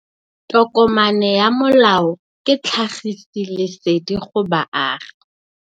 Tokomane ya molao ke tlhagisi lesedi go baagi.